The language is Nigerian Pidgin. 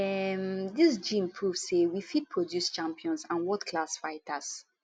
um dis gym don prove say we fit produce champions and worldclass fighters